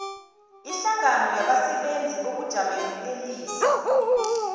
ihlangano yabasebenzeli bokujamelelisa